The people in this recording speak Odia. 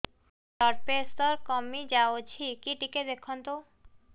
ବ୍ଲଡ଼ ପ୍ରେସର କମି ଯାଉଛି କି ଟିକେ ଦେଖନ୍ତୁ